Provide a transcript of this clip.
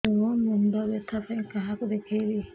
ମୋର ମୁଣ୍ଡ ବ୍ୟଥା ପାଇଁ କାହାକୁ ଦେଖେଇବି